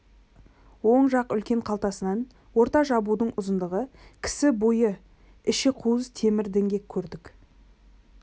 оң жақ үлкен қалтасынан орта жабудың ұзындығы кісі бойы іші қуыс темір діңгек көрдік